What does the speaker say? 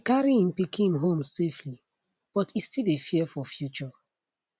e carry im pikin home safely but e still dey fear for future